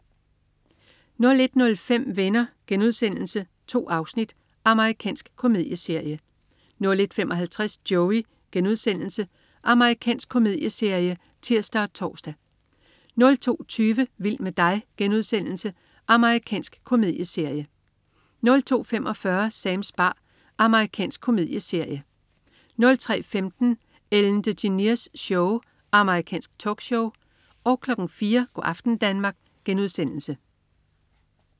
01.05 Venner.* 2 afsnit. Amerikansk komedieserie 01.55 Joey.* Amerikansk komedieserie (tirs og tors) 02.20 Vild med dig.* Amerikansk komedieserie 02.45 Sams bar. Amerikansk komedieserie 03.15 Ellen DeGeneres Show. Amerikansk talkshow 04.00 Go' aften Danmark*